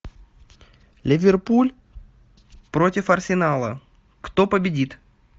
ливерпуль против арсенала кто победит